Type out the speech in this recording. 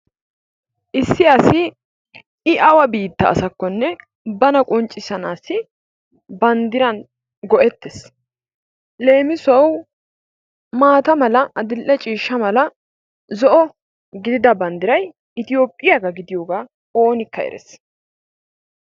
Issi asi I awa biitta asakkonne bana qonccisanaassi banddiran go'ettees, leemissuwawu maata mala addil"e ciishsha mala zo"o gididas banddiray Itoophphiyaba gidiyoga oonikka erees.